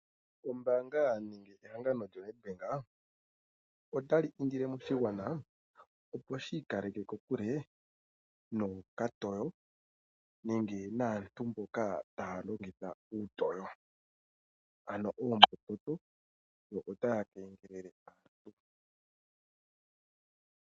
Ombaanga yehangano lyoNedbank otali indile moshigwana, opo shi ika leke kokule nokatoo nenge naantu mboka haya longitha okatoo ano oombudhi ndhono tadhi kengelele aantu.